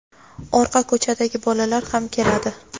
orqa ko‘chadagi bolalar ham keladi.